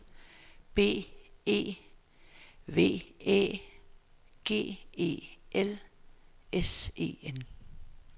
B E V Æ G E L S E N